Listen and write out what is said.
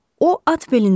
O at belindədir.